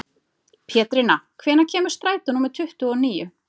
Pétrína, hvenær kemur strætó númer tuttugu og níu?